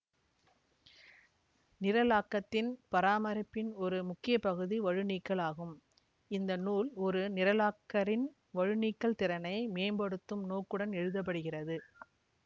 நிரலாக்கத்தின் பராமரிப்பின் ஒரு முக்கிய பகுதி வழுநீக்கல் ஆகும் இந்த நூல் ஒரு நிரலாக்கரின் வழுநீக்கல் திறனை மேம்படுத்தும் நோக்குடன் எழுதப்படுகிறது